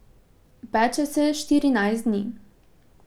Peče se štirinajst dni.